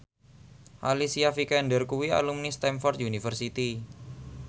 Alicia Vikander kuwi alumni Stamford University